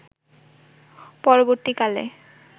পরবর্তীকালে